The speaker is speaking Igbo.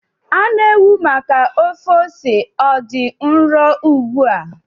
Anụ ewu maka ofe ose ọ dị nro ugbu a?